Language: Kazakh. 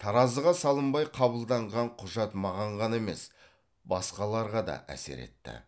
таразыға салынбай қабылданған құжат маған ғана емес басқаларға да әсер етті